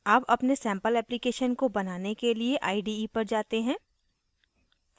अब अपने sample application को बनाने के लिए ide पर जाते हैं